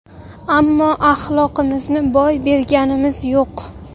ammo axloqimizni boy berganimiz yo‘q!.